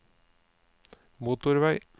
motorvei